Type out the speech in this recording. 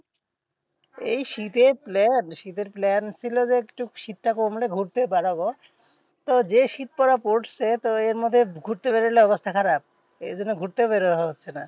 এই শীতে plan শীতের plan ছিল যে একটু শীতটা কমলে ঘুরতে বেড়াবো তো যেই শীত পড়া পড়ছে তো এরমধ্যে ঘুরতে বেড়লে অবস্থা খারাপ এইজন্য ঘুরতেও বের হওয়া হচ্ছে না।